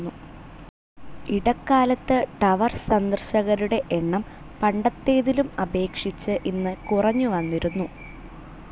ഇടക്കാലത്ത് ടവർ സന്ദർശകരുടെ എണ്ണം പണ്ടത്തേതിലും അപേക്ഷിച്ച് ഇന്ന് കുറഞ്ഞുവന്നിരുന്നു.